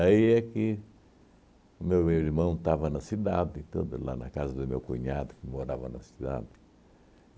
é que o meu irmão estava na cidade, tudo, lá na casa do meu cunhado, que morava na cidade.